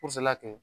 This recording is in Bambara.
la kɛ